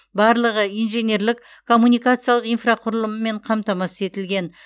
барлығы инженерлік коммуникациялық инфрақұрылыммен қамтамасыз етілген